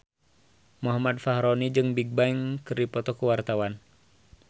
Muhammad Fachroni jeung Bigbang keur dipoto ku wartawan